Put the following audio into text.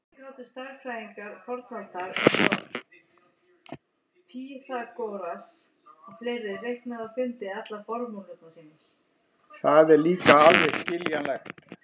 Það er líka alveg skiljanlegt.